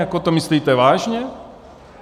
Jako to myslíte vážně?